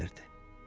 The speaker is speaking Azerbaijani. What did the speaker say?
Yuxusu gəlirdi.